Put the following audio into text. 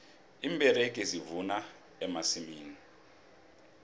iimberegi zivuna emasimini